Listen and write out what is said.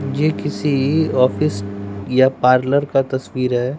ये किसी ऑफिस या पार्लर का तस्वीर है।